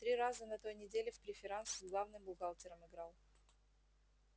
три раза на той неделе в преферанс с главным бухгалтером играл